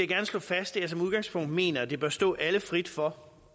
gerne slå fast at jeg som udgangspunkt mener at det bør stå alle frit for